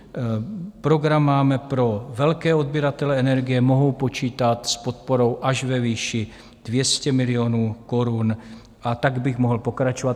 Program máme pro velké odběratele energie, mohou počítat s podporou až ve výši 200 milionů korun, a tak bych mohl pokračovat.